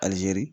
Alizeri